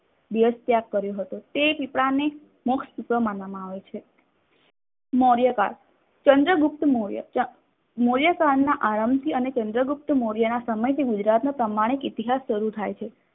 દિવશ ત્યાગ કર્યો હતો. તે પીપળાને મોક્ષ પીપળો માનવામાં આવે છે. મોર્યકાળ ચંદ્ર ગુપ્ત મોર્ય મોર્ય કાળ ના આરંભ થી અને ચન્દ્રગુપ્ત મોર્યના સમયથી ગુજરાતનો પ્રામાણિક ઇતિહાસ સારું થાય છે.